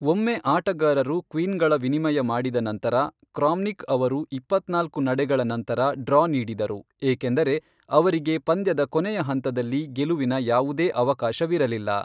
ಒಮ್ಮೆ ಆಟಗಾರರು 'ಕ್ವೀನ್'ಗಳ ವಿನಿಮಯ ಮಾಡಿದ ನಂತರ, ಕ್ರಾಮ್ನಿಕ್ ಅವರು ಇಪ್ಪತ್ನಾಲ್ಕು ನಡೆಗಳ ನಂತರ 'ಡ್ರಾ' ನೀಡಿದರು ಏಕೆಂದರೆ ಅವರಿಗೆ ಪಂದ್ಯದ ಕೊನೆಯ ಹಂತದಲ್ಲಿ ಗೆಲುವಿನ ಯಾವುದೇ ಅವಕಾಶವಿರಲಿಲ್ಲ.